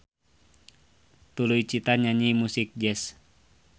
Tuluy Cita nyanyi musik jazz.